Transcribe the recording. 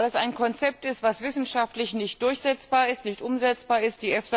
Weil es ein Konzept ist, das wissenschaftlich nicht durchsetzbar, nicht umsetzbar ist.